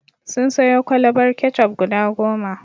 Sun sayo kwalabar ketchup guda goma.